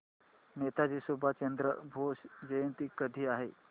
नेताजी सुभाषचंद्र बोस जयंती कधी आहे